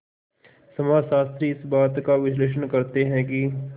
समाजशास्त्री इस बात का विश्लेषण करते हैं कि